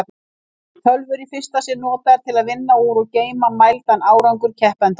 Tölvur í fyrsta sinn notaðar til að vinna úr og geyma mældan árangur keppenda.